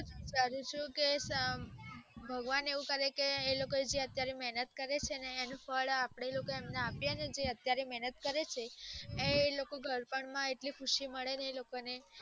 ભગવાન એવું કરે કે એ લોકો જે મહેનત કરે છે ને એનું ફળ અપડે એ લોકો ને આપ્યે ને તો એ લોકો ગઢ પણ માં એટલી ખુધી મળે ને બને